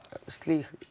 slíkt